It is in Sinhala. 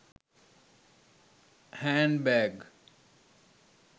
hand bag